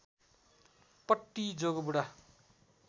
पट्टी जोगबुढा